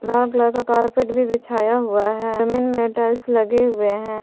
Brown colour का carpet भी बिछाया हुआ है जमीन में टाइल्स लगे हुए हैं।